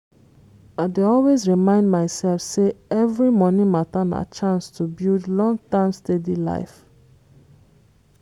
i dey always remind myself say every money matter na chance to build long-term steady life.